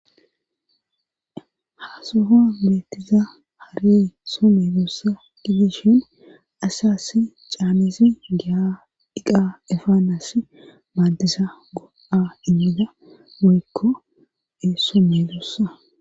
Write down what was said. Ha sohon beettiza hare some doossa ki dishin ashyassi caamesi giadhiqa efaanas maaddisa go7a inmida goykko eesso me doossa